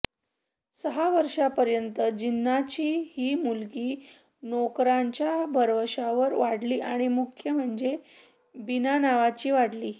सहा वर्षांपर्यंत जिन्नांची ही मुलगी नोकरांच्या भरवशावर वाढली आणि मुख्य म्हणजे बिनानावाची वाढली